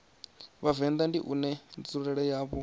vhavenḓa ndi une nzulele yawo